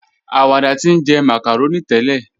Awàdà ti njẹ́ macaroni tẹlẹ.